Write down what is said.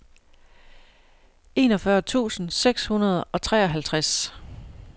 enogfyrre tusind seks hundrede og treoghalvtreds